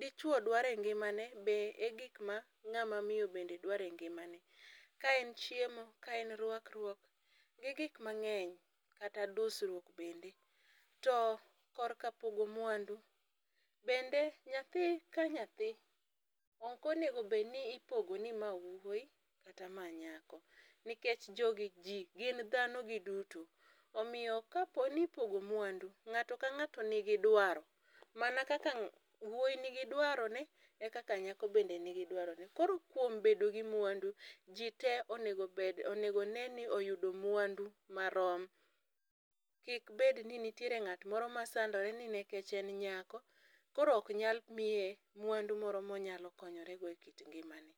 dichuo dware ngimane be e gik ma ngama miyo bende dware ngimane .Ka en chiemo , kaen rwakruok gi gik mangeny kata dusruok bende. Korka pogo mwandu bende nyathi ka nyathi ok onego bed ni ipogo ni ma wuoyi kata ma nyako nikech jogi jii gin dhano giduto. Omiyo ka ipogo mwandu to ng'ato ka ng'ato nigi dwaro . Mana kata wuoyo nigi dwaro ne ekaka nyako bende nigi dwaro ne koro kuom bedo gi mwandu koro jii tee onego onee ni oyudo mwandu marom . Kik bed ni ntie ng'at moro masandore ni nikech en nyako koro ok nyal miye mwandu moro monyalo konyore go e kit ngimane.